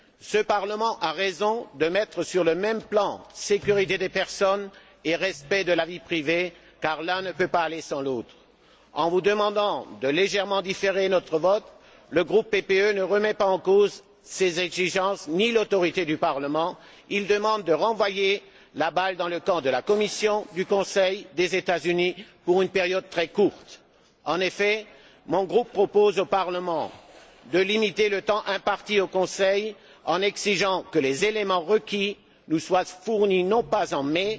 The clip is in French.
Ce Parlement a raison de mettre sur le même plan sécurité des personnes et respect de la vie privée, car l'un ne peut pas aller sans l'autre. En vous demandant de différer légèrement notre vote, le groupe PPE ne remet pas en cause ses exigences ni l'autorité du Parlement. Il demande de renvoyer la balle dans le camp de la Commission, du Conseil et des États Unis pour une période très courte. En effet, mon groupe propose au Parlement de limiter le temps imparti au Conseil en exigeant que les éléments requis nous soient fournis non pas en mai